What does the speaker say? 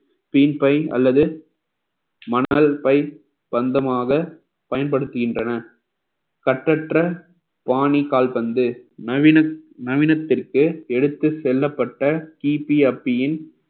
by அல்லது மணல் பை பந்தமாக பயன்படுத்துகின்றன கற்றற்ற பாணி கால்பந்து நவீன~ நவீனத்திற்கு எடுத்துச் செல்லப்பட்ட கிபி அப்பியின்